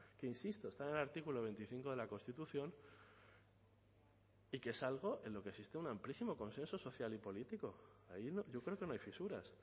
que insisto está en el artículo veinticinco de la constitución y que es algo en lo que existe un amplísimo consenso social y político ahí yo creo que no hay fisuras